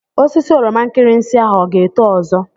Osisi oroma nkirinsi ahụ ọ ga-eto ọzọ?